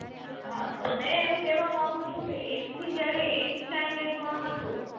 હાં તો મેં એમ કહેવા માંગુ છું કે એક થી જયારે eight standard માં હતો